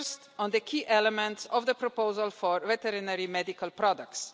First, on the key elements of the proposal for veterinary medical products.